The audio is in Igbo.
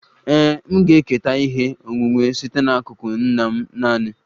Ee, m ga-eketa ihe onwunwe site n'akụkụ nna m naanị